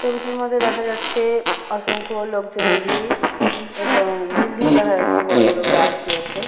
ছবিটির মধ্যে দেখা যাচ্ছে-এ অসংখ্য লোকজনের ভিড় এবং বিল্ডিং দেখা যাচ্ছে বড়ো বড়ো গাছ রয়েছে।